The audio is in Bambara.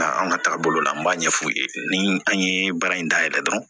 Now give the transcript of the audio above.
Nka an ka taabolo la n b'a ɲɛfu ye ni an ye baara in dayɛlɛ dɔrɔn